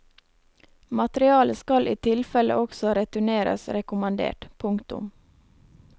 Materialet skal i tilfelle også returneres rekommandert. punktum